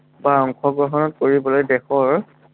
বা অংশগ্ৰহণ কৰিবলৈ দেশৰ